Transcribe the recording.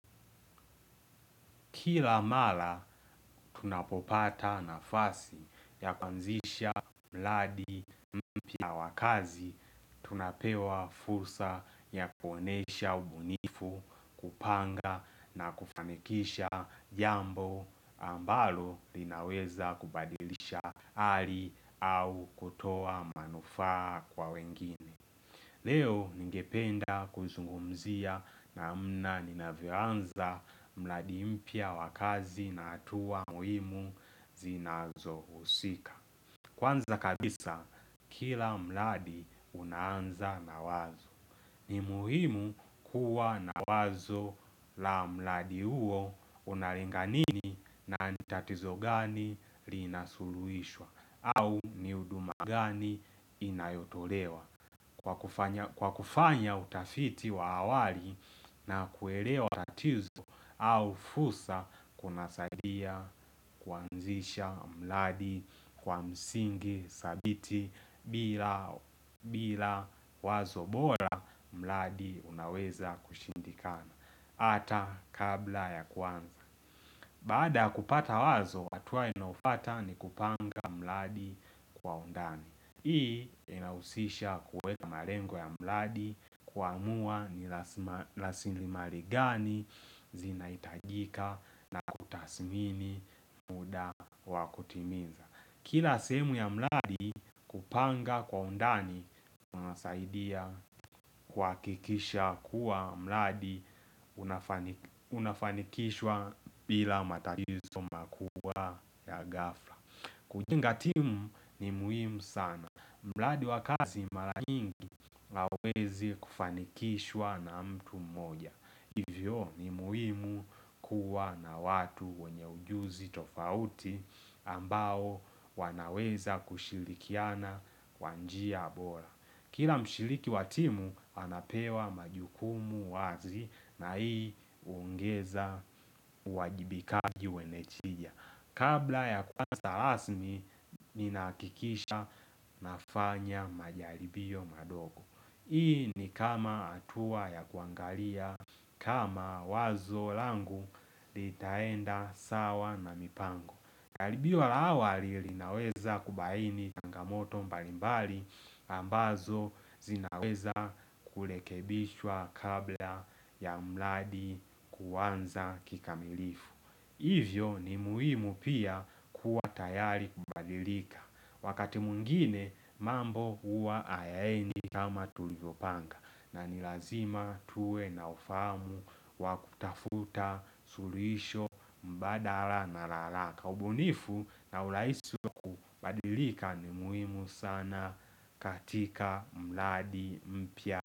Kila mara, tunapopata nafasi ya kuanzisha mradi mpya wa kazi. Tunapewa fursa ya kuonyesha ubunifu, kupanga na kufanikisha jambo ambalo linaweza kubadilisha hali au kutoa manufaa kwa wengine. Leo ningependa kuzungumzia namna ninavyoanza mradi mpya wa kazi na hatua muhimu zinazohusika. Kwanza kabisa, kila mradi unaanza na wazo. Ni muhimu kuwa na wazo la mradi huo unalenga nini na ni tatizo gani linasuluhishwa au ni huduma gani inayotolewa. Kwa kufanya utafiti wa awali na kuelewa tatizo au fursa kunasadia kuanzisha mradi kwa msingi thabiti bila wazo bora mradi unaweza kushindikana. Ata kabla ya kuanza Baada ya kupata wazo, hatua inayofuata ni kupanga mradi kwa undani. Hii inahusisha kuweka malengo ya mradi, kuamua ni rasilimali gani zinahitajika na kutathmini muda wa kutimiza. Kila sehemu ya mradi kupanga kwa undani na unasaidia kuhakikisha kuwa mradi unafanikishwa bila matatizo makubwa ya ghafla kujenga timu ni muhimu sana. Mradi wa kazi mara nyingi hauwezi kufanikishwa na mtu mmoja. Hivyo ni muhimu kuwa na watu wenye ujuzi tofauti ambao wanaweza kushirikiana kwa njia bora. Kila mshiriki wa timu anapewa majukumu wazi na hii huongeza uwajibikaji wenye njia. Kabla ya kuanza rasmi ninahakikisha nafanya majaribio madogo. Hii ni kama hatua ya kuangalia kama wazo langu litaenda sawa na mipango. Jaribio la awali linaweza kubaini changamoto mbalimbali ambazo zinaweza kurekebishwa kabla ya mradi kuanza kikamilifu Hivyo ni muhimu pia kuwa tayari kubadilika Wakati mwingine mambo huwa hayaendi kama tulivyopanga na ni lazima tuwe na ufahamu wa kutafuta suluhisho mbadala na la haraka. Ubunifu na urahisi wa kubadilika ni muhimu sana katika mradi mpya.